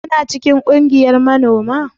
Kuna cikin kungiyar manoma?